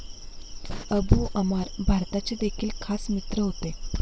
Abu Ammar भारताचे देखील खास मित्र होते.